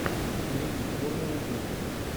найди формула жизни